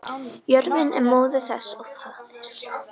Jörðin er móðir þess og faðir.